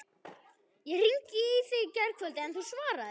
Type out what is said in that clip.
Ég hringdi í þig í gærkvöldi, en þú svaraðir ekki.